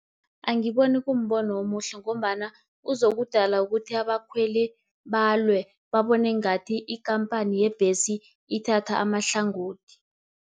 Angiboni kumbono omuhle, ngombana uzokudala ukuthi abakhweli balwe, babone ngathi ikampani yebhesi ithatha amahlangothi.